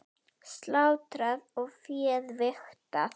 Slátrað og féð vigtað.